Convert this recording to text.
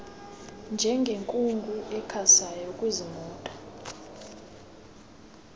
njengenkungu ekhasayo kuziimoto